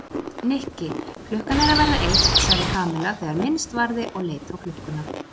Nikki, klukkan er að verða eitt sagði Kamilla þegar minnst varði og leit á klukkuna.